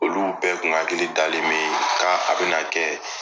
Olu bɛɛ kun hakili dalen be ka a be na kɛ